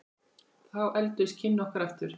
Þá efldust kynni okkar aftur.